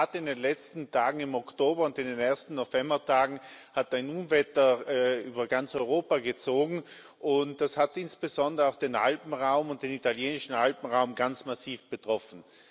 Ja, in der Tat, in den letzten Tagen im Oktober und in den ersten Novembertagen ist ein Unwetter über ganz Europa gezogen, und das hat insbesondere auch den Alpenraum und den italienischen Alpenraum ganz massiv betroffen.